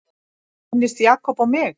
Minntist Jakob á mig?